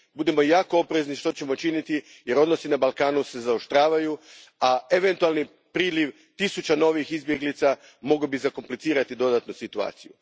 Budimo jako oprezni što ćemo činiti jer se odnosi na Balkanu zaoštravaju, a eventualni priliv tisuća novih izbjeglica bi mogao dodatno zakomplicirati situaciju.